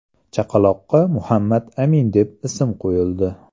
Chaqaloqqa Muhammadamin deb ism qo‘yildi.